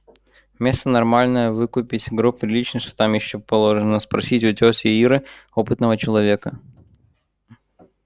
место нормальное выкупить гроб приличный что там ещё положено спросить у тёти иры опытного человека